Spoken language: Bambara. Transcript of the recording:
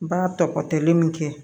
Ba tɔgɔtɛli min kɛ